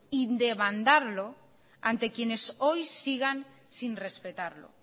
y demandarlo ante quienes hoy sigan sin respetarlo